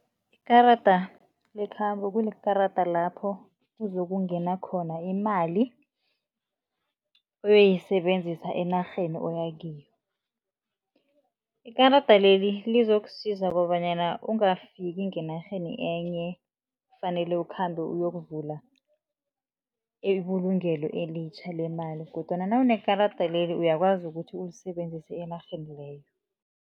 Ikarada lekhambo kunekarada lapho kuzokungena khona imali, uyoyisebenzisa enarheni oya kiyo. Ikarada leli lizokusiza kobanyana ungafiki ngenarheni enye, fanele ukhambe uyokuvula ibulungelo elitjha lemali. Kodwana nawunekarada leli uyakwazi ukuthi ulisebenzise enarheni leyo.